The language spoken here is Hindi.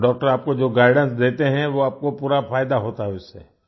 और डॉक्टर आपको जो गाइडेंस देते हैं वो आपको पूरा फायदा होता है उससे